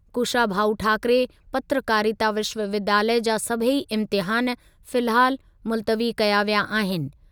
कुशाभाऊ ठाकरे पत्रकारिता विश्वविद्यालय जा सभेई इम्तिहान फिलहालु मुल्तवी कया विया आहिनि।